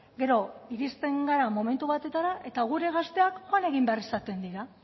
gero iristen gara momentu batetara eta gure gazteak joan egin behar izaten dira